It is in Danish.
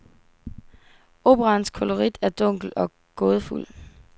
Operaens kolorit er dunkel og gådefuld.